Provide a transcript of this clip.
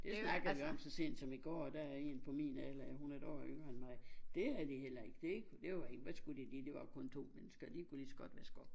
Det snakkede vi om så sent som i går der er en på min alder ja hun er et år yngre end mig det havde de heller ikke det det var ikke hvad skulle de lige de var kun to mennesker og de kunne lige så godt vaske op